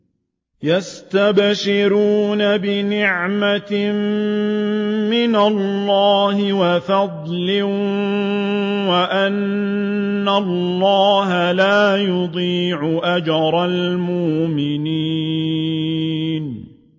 ۞ يَسْتَبْشِرُونَ بِنِعْمَةٍ مِّنَ اللَّهِ وَفَضْلٍ وَأَنَّ اللَّهَ لَا يُضِيعُ أَجْرَ الْمُؤْمِنِينَ